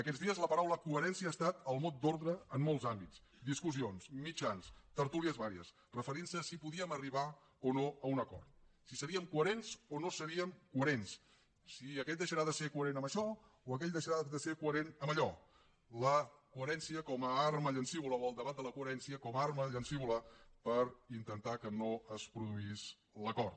aquests dies la paraula coherència ha estat el mot d’ordre en molts àmbits discussions mitjans tertúlies vàries referint se a si podíem arribar o no a un acord si seríem coherents o no seríem coherents si aquest deixarà de ser coherent en això o aquell deixarà de ser coherent en allò la coherència com a arma llancívola o el debat de la coherència com a arma llancívola per intentar que no es produís l’acord